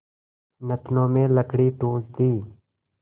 नथनों में लकड़ी ठूँस दी